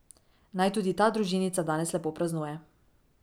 Naj tudi ta družinica danes lepo praznuje.